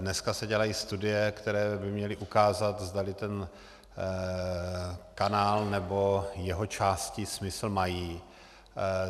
Dneska se dělají studie, které by měly ukázat, zdali ten kanál nebo jeho části smysl mají.